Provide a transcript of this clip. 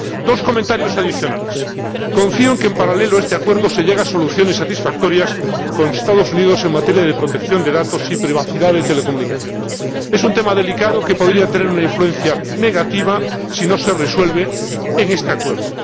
Dos comentarios adicionales en primer lugar, confío en que, en paralelo a este acuerdo, se llegue a soluciones satisfactorias con los Estados Unidos en materia de protección de datos y privacidad de telecomunicaciones —es un tema delicado que podría tener una influencia negativa si no se resuelve en este acuerdo—.